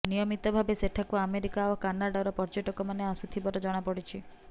ନିୟମିତ ଭାବେ ସେଠାକୁ ଆମେରିକା ଓ କାନାଡାର ପର୍ଯ୍ୟଟକମାନେ ଆସୁଥିବାର ଜଣାପଡ଼ିଛି